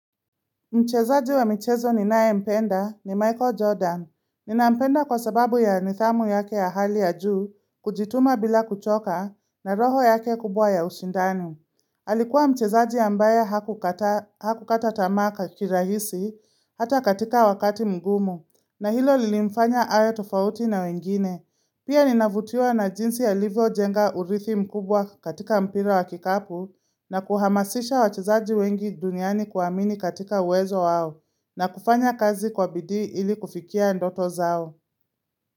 Mchezaji wa michezo ninayempenda ni Michael Jordan. Ninampenda kwa sababu ya nidhamu yake ya hali ya juu kujituma bila kuchoka na roho yake kubwa ya ushindani. Alikuwa mchezaji ambaye hakukataa hakukata tamaa kirahisi hata katika wakati mgumu na hilo lilimfanya awe tofauti na wengine. Pia ninavutiwa na jinsi alivyojenga urithi mkubwa katika mpira wa kikapu na kuhamasisha wachezaji wengi duniani kuamini katika uwezo wao na kufanya kazi kwa bidii ili kufikia ndoto zao.